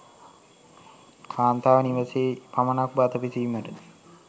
කාන්තාව නිවසෙහි පමණක් බත පිසීමට